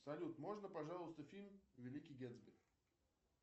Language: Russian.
салют можно пожалуйста фильм великий гетсби